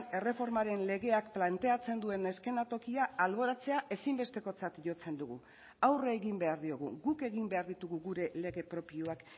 erreformaren legeak planteatzen duen eszenatokia alboratzea ezinbestekotzat jotzen dugu aurre egin behar diogu guk egin behar ditugu gure lege propioak